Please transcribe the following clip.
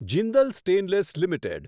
Jindal stainless limited